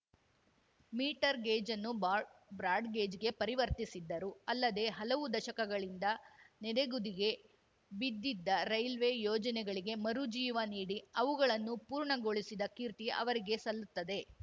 metre gauge ಅನ್ನು ಬಾಡ್ ಬ್ರಾಡ್‌ಗೇಜ್‌ಗೆ ಪರಿವರ್ತಿಸಿದ್ದರು ಅಲ್ಲದೇ ಹಲವು ದಶಕಗಳಿಂದ ನೆನೆಗುದಿಗೆ ಬಿದ್ದಿದ್ದ ರೈಲ್ವೆ ಯೋಜನೆಗಳಿಗೆ ಮರುಜೀವ ನೀಡಿ ಅವುಗಳನ್ನು ಪೂರ್ಣಗೊಳಿಸಿದ ಕೀರ್ತಿ ಅವರಿಗೆ ಸಲ್ಲುತ್ತದೆ